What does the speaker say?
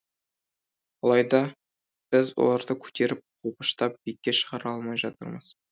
алайда біз оларды көтеріп қолпаштап биікке шығара алмай жатырмыз